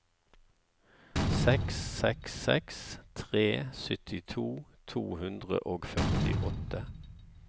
seks seks seks tre syttito to hundre og førtiåtte